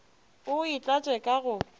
o e tlatše ka go